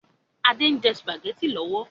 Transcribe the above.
Adé ń jẹ sùpàgétì lọ́wọ́